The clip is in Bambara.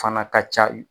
Fana ka ca